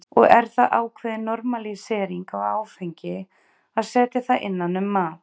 Og er það ákveðin normalísering á áfengi að setja það innan um mat?